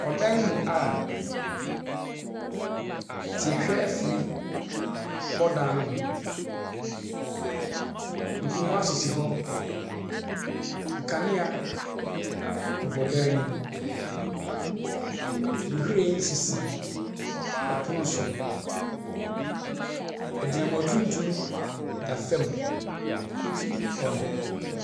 Ɔdan mu a tiehwɛ afiri bɔ dan ho. Nkonwa sisi hɔ, nkwanea bobɔ dan nem. Nhwiren sisi ɔpono so. Agyinamoa tuntum da fam hɔ nom.